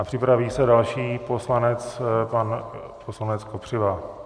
A připraví se další poslanec, pan poslanec Kopřiva.